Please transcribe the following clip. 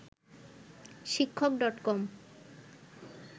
শিক্ষক.কম